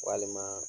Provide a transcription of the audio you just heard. Walima